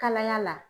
Kalaya la